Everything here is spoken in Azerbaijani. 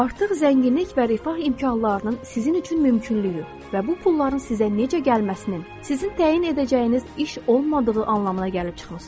Artıq zənginlik və rifah imkanlarının sizin üçün mümkünlüyü və bu pulların sizə necə gəlməsinin sizin təyin edəcəyiniz iş olmadığı anlamına gəlib çıxmısınız.